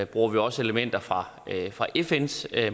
bruger vi også elementer fra fra fns